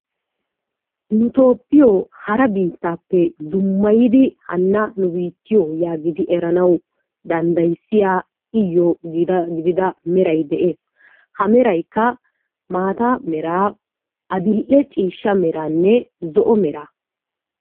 Nu biittiyoo hara dummayidi hanna nu biittiyoo yaagidi eranawu danddayissiyaa iyoo gidida meray de'ees. Ha meraykka maata meraa adil"e ciishsha meraa meraanne zo"o meraa.